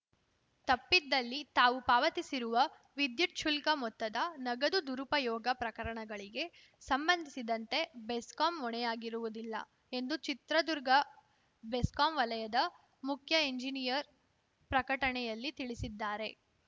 ತಪ್ಪಿದ್ದಲ್ಲಿ ತಾವು ಪಾವತಿಸಿರುವ ವಿದ್ಯುತ್‌ ಶುಲ್ಕ ಮೊತ್ತದ ನಗದು ದುರುಪಯೋಗ ಪ್ರಕರಣಗಳಿಗೆ ಸಂಬಂಧಿಸಿದಂತೆ ಬೆಸ್ಕಾಂ ಹೊಣೆಯಾಗಿರುವುದಿಲ್ಲ ಎಂದು ಚಿತ್ರದುರ್ಗ ಬೆಸ್ಕಾಂ ವಲಯದ ಮುಖ್ಯಎಂಜಿನಿಯರ್‌ ಪ್ರಕಟಣೆಯಲ್ಲಿ ತಿಳಿಸಿದ್ದಾರೆ